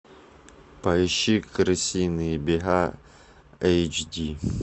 поищи крысиные бега эйч ди